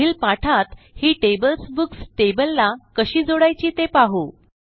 पुढील पाठात ही टेबल्स बुक्स tableला कशी जोडायची ते पाहू